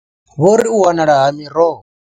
Vho ri u wanala ha miroho.